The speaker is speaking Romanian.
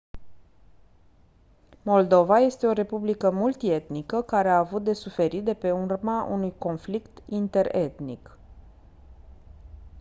moldova este o republică multi-etnică care a avut de suferit de pe urma unui conflict interetnic